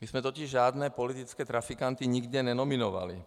My jsme totiž žádné politické trafikanty nikde nenominovali.